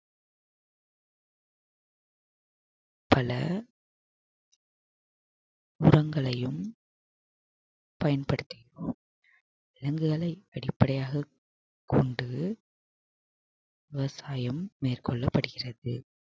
பல உரங்களையும் பயன்படுத்திக்குவோம் விலங்குகளை வெளிப்படையாகக் கொண்டு விவசாயம் மேற்கொள்ளப்படுகிறது